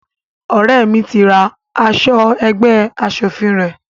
Ọrẹ mí tí ra aṣọ ẹgbẹ́ aṣòfin rẹ